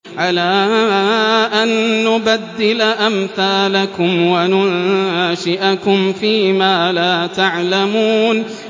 عَلَىٰ أَن نُّبَدِّلَ أَمْثَالَكُمْ وَنُنشِئَكُمْ فِي مَا لَا تَعْلَمُونَ